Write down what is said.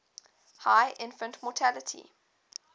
high infant mortality